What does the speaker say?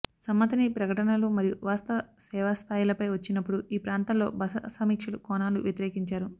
సమ్మతిని ప్రకటనలు మరియు వాస్తవ సేవాస్థాయిలపై వచ్చినప్పుడు ఈ ప్రాంతాల్లో బస సమీక్షలు కోణాలు వ్యతిరేకించారు